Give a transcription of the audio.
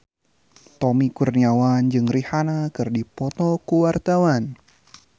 Tommy Kurniawan jeung Rihanna keur dipoto ku wartawan